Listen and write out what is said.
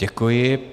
Děkuji.